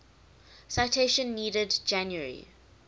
citation needed january